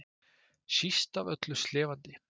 Síst af öllu slefandi.